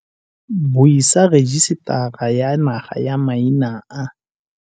Buisa Rejisetara ya Naga ya Maina a.